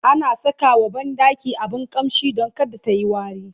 ana Saka wa banɗaki abun ƙamshi Dan kada tayi wari